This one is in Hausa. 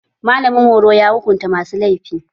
Malamin horo ya hukunta masu laifi